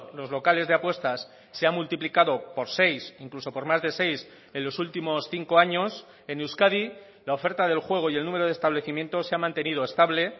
los locales de apuestas se han multiplicado por seis incluso por más de seis en los últimos cinco años en euskadi la oferta del juego y el número de establecimientos se ha mantenido estable